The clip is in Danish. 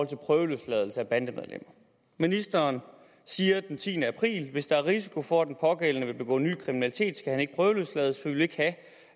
til prøveløsladelse af bandemedlemmer ministeren siger den tiende april prøveløsladt hvis der er risiko for at den pågældende vil begå ny kriminalitet skal han ikke prøveløslades for vi vil ikke have